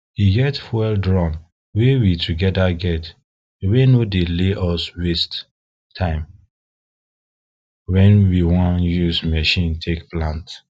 e get fuel drum wey we togeda get wey no dey ley us waste time wen we wan use machine take plant